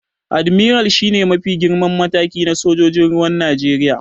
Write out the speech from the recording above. Admiral shi ne mafi girman mataki na sojojin ruwan Najeriya.